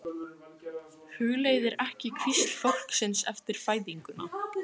Hugleiðir ekki hvísl fólksins eftir fæðinguna.